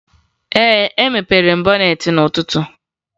Ee, emepere m bọneetị n'ụtụtu